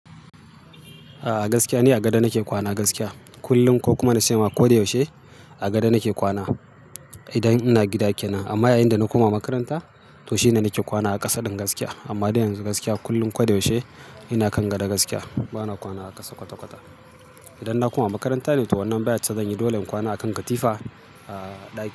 A gaskiya ne a gado nake kwana gaskiya. Kullum ko kuma na ce ma ko da yaushe a gado nake kwana idan ina gida kenan. Amma yayinda nako makaranta to shine nake kwana a ƙasa din gaskiya. Amma dan yanzu gaskiya kullum ko da yaushe ina kan gado gaskiya bana kwana a ƙasa kwata-kwata. Idan na koma makaranta ne to wannan bayarce zan yi dole in kwana akan katifa a ɗaki.